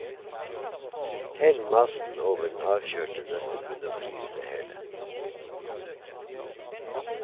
Hell massen over den avkjølte nøttebunn og frys det hele.